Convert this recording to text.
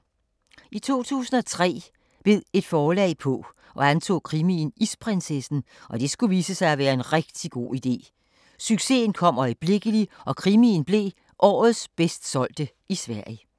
I 2003 bed et forlag på og antog krimien Isprinsessen, og det skulle vise sig at være en rigtig god idé! Succesen kom øjeblikkelig og krimien blev årets bedst solgte i Sverige.